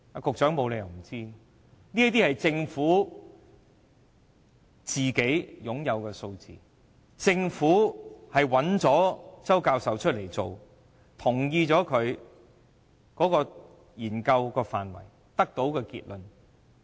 局長沒有理由不知道這些數字，政府請周教授進行這項研究，並同意其研究範圍和研究結論。